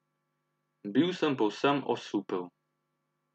Bil sem povsem osupel.